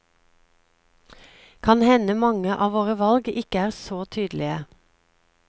Kan hende mange av våre valg ikke er så tydelige.